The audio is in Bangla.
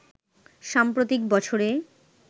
সাম্প্রতিক বছরে